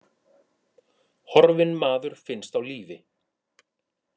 Horfinn maður finnst á lífi